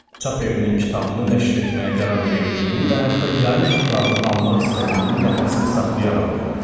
Çap evinin kitabımı nəşr etməyə qərar verdiyini və hətta yayın haqlarını almaq istədiyini nəfəsimi saxlayaraq oxudum.